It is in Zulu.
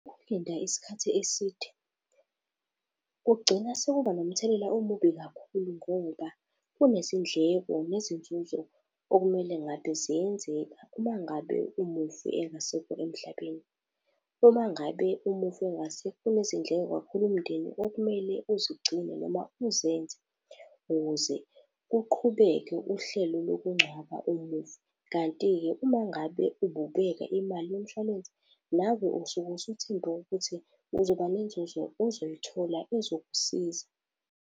Ukulinda isikhathi eside kugcina sekuba nomthelela omubi kakhulu ngoba kunezindleko, nezinzuzo okumele ngabe ziyenzeka Uma ngabe umufi engasekho emhlabeni. Uma ngabe umufi engasekho kunezinhlelo kakhulu umndeni okumele uzigcine noma uzenze, ukuze kuqhubeke uhlelo lokungcwaba umufi. Kanti-ke uma ngabe ububeka imali yomshwalense, nawe usuke usuthembe ukuthi uzoba nenzuzo ozoyithola ezokusiza.